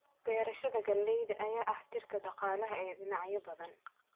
Beerashada galleyda ayaa ah tiirka dhaqaalaha ee dhinacyo badan.